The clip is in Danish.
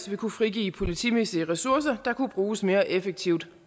ville kunne frigive politimæssige ressourcer der kunne bruges mere effektivt